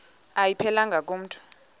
ayiphelelanga ku mntu